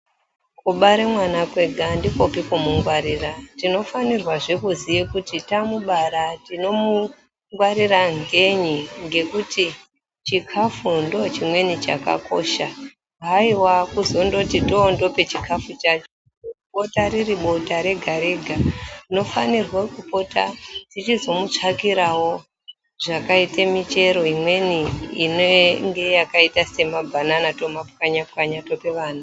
Kubare mwana kwega handikopi kumungwarira. Tinofanirwazve kuziye kuti tamubara tinomungwarira ngenyi ngekuti chikafu ndochimweni chakakosha. Haiwa kuzondoti tondope chikafu chacho bota riri bota rega-rega, tinofanirwa kupota tichizomutsvakirawo zvakaite michero imweni inenge yakaita semabhanana tomapwanya pwanya tope vana.